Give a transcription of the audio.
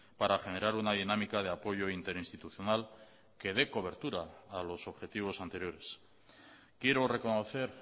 para generar una dinámica de apoyo interinstitucional que dé cobertura a los objetivos anteriores quiero reconocer